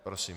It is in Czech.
Prosím.